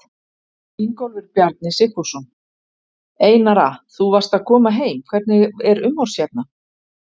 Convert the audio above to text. Ingólfur Bjarni Sigfússon: Einara þú varst að koma heim, hvernig er umhorfs hérna?